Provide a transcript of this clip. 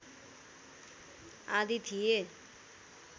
आदि थिए